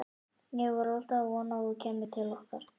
Ég var alltaf að vona að þú kæmir til okkar.